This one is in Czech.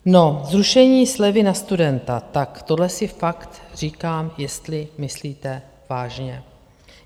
No, zrušení slevy na studenta - tak tohle si fakt říkám, jestli myslíte vážně.